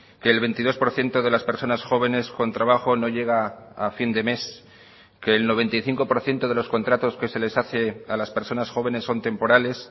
que el veintidós por ciento de las personas jóvenes con trabajo no llega a fin de mes que el noventa y cinco por ciento de los contratos que se les hace a las personas jóvenes son temporales